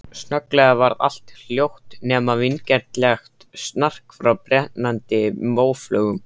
Snögglega varð allt hljótt, nema vingjarnlegt snark frá brennandi móflögum.